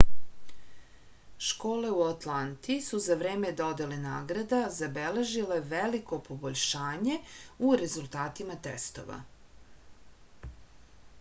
школе у ​​атланти су за време доделе награда забележиле велико побољшање у резултатима тестова